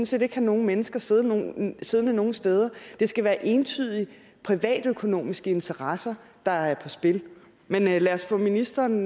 set ikke have nogen mennesker siddende nogen siddende nogen steder det skal være entydige privatøkonomiske interesser der er på spil men lad os få ministeren